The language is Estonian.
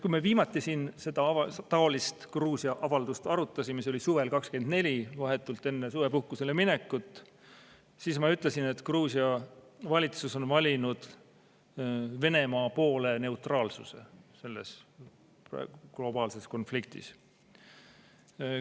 Kui me viimati siin taolist Gruusia-avaldust arutasime, see oli suvel 2024, vahetult enne suvepuhkusele minekut, siis ma ütlesin, et Gruusia valitsus on valinud Venemaa poole kaldu neutraalsuse selles globaalses konfliktis.